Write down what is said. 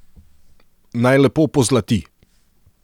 Naj lepo pozlati.